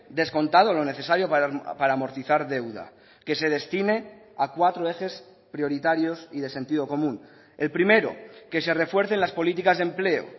descontado lo necesario para amortizar deuda que se destine a cuatro ejes prioritarios y de sentido común el primero que se refuercen las políticas de empleo